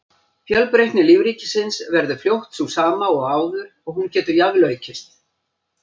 Fjölbreytni lífríkisins verður fljótt sú sama og áður og hún getur jafnvel aukist.